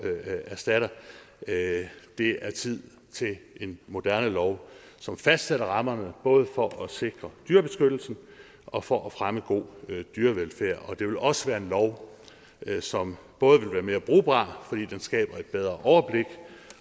erstatter det det er tid til en moderne lov som fastsætter rammerne både for at sikre dyrebeskyttelsen og for at fremme god dyrevelfærd det vil også være en lov som både vil være mere brugbar fordi den skaber et bedre overblik